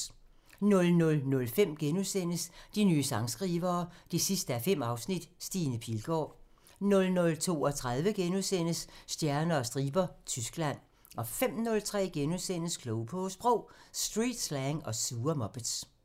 00:05: De nye sangskrivere 5:5 – Stine Pilgaard * 00:32: Stjerner og striber – Tyskland * 05:03: Klog på Sprog: Streetslang og sure muppets *